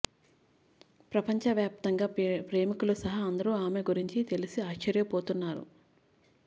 ప్రపంచ వ్యాప్తంగా ప్రేమికులు సహా అందరూ ఆమె గురించి తెలిసి ఆశ్చర్యపోతున్నారు